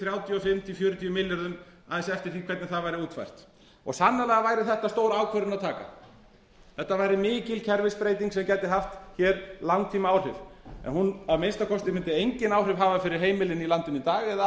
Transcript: þrjátíu og fimm til fjörutíu milljörðum aðeins eftir því hvernig það væri útfært sannarlega væri þetta stór ákvörðun að taka þetta væri mikil kerfisbreyting sem gæti haft hér langtímaáhrif en hún að minnsta kosti mundi engin áhrif hafa fyrir heimilin í landinu í dag eða